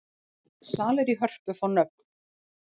Salir í Hörpu fá nöfn